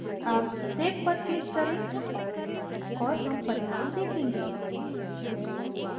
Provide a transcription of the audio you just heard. अब save पर click करें और हम परिणाम देखेंगे